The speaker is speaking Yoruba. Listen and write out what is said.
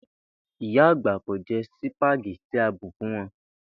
Ìyà agbà kò je̩ sìpàgé̩tì tí a bù fún wo̩n